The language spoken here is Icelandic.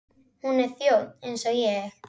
Hún er þjónn eins og ég.